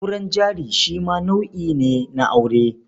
Auren jari shi ma nau'i ne na aure.